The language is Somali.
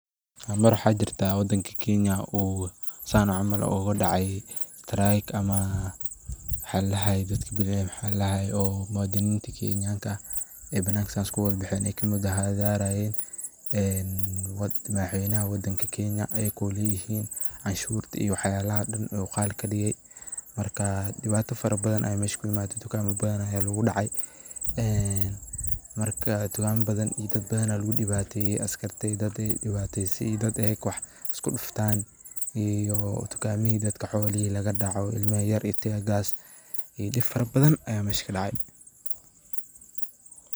Mar mar waxa jeertah wadanga Kenya oo saan caml ugudacay, strayk ama mxaladahay oo muwadinenika keenyanka aah ee banaka saas kuwalbaxeen ee kamit aaha kamuthahathayeen madaxweynaha wadanga keenya ayoko leetahin, caanshuurta iyo waxyalaha oo Dan oo qhal kadigay marka dewato faraban Aya meesha ku imathay, tukama bathan Aya lagu dacay ee marka tukama bathan iyo dad bathan Aya lagu diwaateeye, askata dadaka wewataysay ayaka wax isku duuftan iyo tukameehi dadka iyo xoolehi dadka ini lagadacoh ilma yaryar teagaar iyo deeb bathan Aya meesha kadacay.